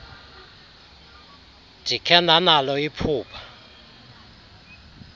ndikhe ndanalo iphupha